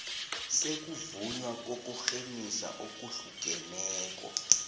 sokuvunywa kokurhemisa okuhlukeneko